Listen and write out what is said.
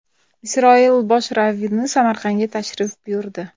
Isroil bosh ravvini Samarqandga tashrif buyurdi.